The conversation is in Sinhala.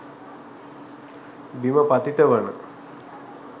බිම පතිත වන